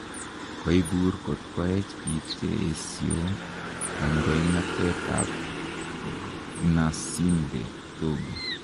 Koibur kot koech biik che koesio kandoinatet ab Gnassingbe Togo